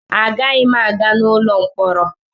Agaghị m aga n'ụlọ mkpọrọ.